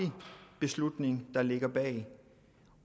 beslutning der ligger bag